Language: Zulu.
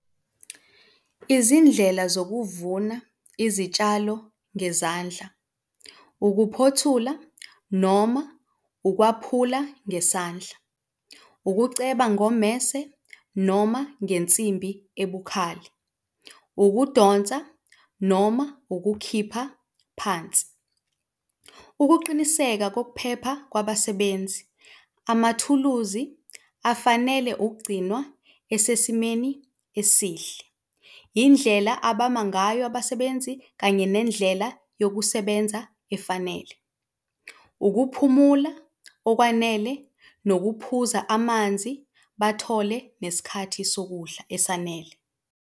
Izindlela zokuvuna izitshalo ngezandla, ukuphothula noma ukwaphula ngesandla, ukuceba ngommese noma ngensimbi ebukhali, ukudonsa noma ukukhipha phansi. Ukuqiniseka kokuphepha kwabasebenzi. Amathuluzi afanele ukugcinwa esesimeni esihle, indlela abama ngayo abasebenzi kanye nendlela yabasebenza efanele. Ukuphumula okwanele nokuphuza amanzi, bathole nesikhathi sokudla esanele.